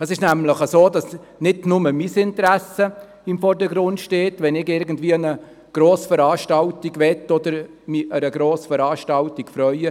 Es ist nämlich so, dass nicht nur mein Interesse im Vordergrund steht, wenn ich irgendwie an eine Grossveranstaltung gehen möchte oder mich an einer Grossveranstaltung erfreue.